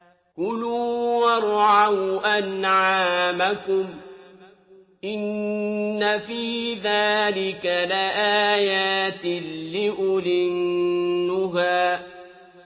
كُلُوا وَارْعَوْا أَنْعَامَكُمْ ۗ إِنَّ فِي ذَٰلِكَ لَآيَاتٍ لِّأُولِي النُّهَىٰ